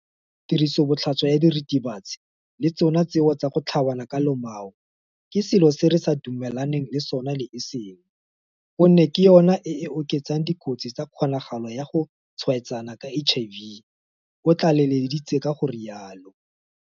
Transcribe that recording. Tirisobotlhaswa ya diritibatsi le tsona tseo tsa go tlhabana ka lomao ke selo se re sa dumelaneng le sona le e seng gonne ke yona e e oketsang dikotsi tsa kgonagalo ya go tshwaetsana ka HIV, o tlaleleditse ka go rialo.